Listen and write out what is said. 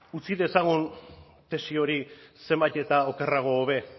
utzi dezagun tesi hori zenbait eta okerrago hobe